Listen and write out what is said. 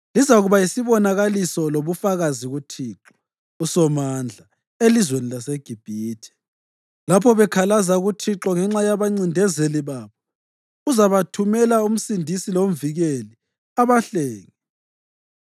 Lizakuba yisibonakaliso lobufakazi kuThixo uSomandla elizweni laseGibhithe. Lapho bekhalaza kuThixo ngenxa yabancindezeli babo, uzabathumela umsindisi lomvikeli, abahlenge.